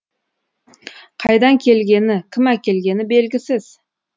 қайдан келгені кім әкелгені белгісіз